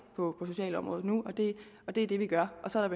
på socialområdet nu og det er det vi gør og så er